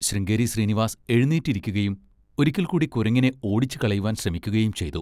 ശൃംഗേരി ശ്രീനിവാസ് എഴുന്നേറ്റിരിക്കുകയും ഒരിക്കൽക്കൂടി കുരങ്ങിനെ ഓടിച്ചുകളയുവാൻ ശ്രമിക്കുകയും ചെയ്‌തു.